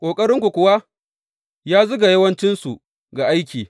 Ƙoƙarinku kuwa ya zuga yawancinsu ga aiki.